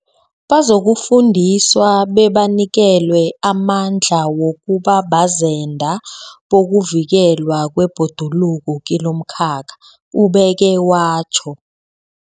Bazokufundiswa bebanikelwe amandla wokuba bazenda bokuvikelwa kwebhoduluko kilomkhakha, ubeke watjho.